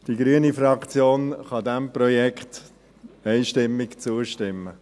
Die grüne Fraktion kann diesem Projekt einstimmig zustimmen.